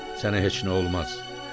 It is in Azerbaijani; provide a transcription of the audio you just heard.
Sənə heç nə olmaz.